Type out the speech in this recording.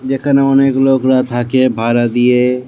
যেখানে অনেক লোকরা থাকে ভাড়া দিয়ে-এ।